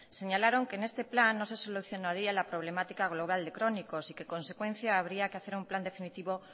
señalaron que en este plan no se solucionaría la problemática global de crónicos y que en consecuencia habría que hacer un plan definitivo